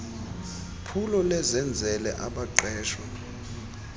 phulo lezenzele abaqeshwe